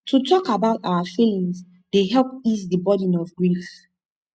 to talk about our feelings dey help ease di burden of grief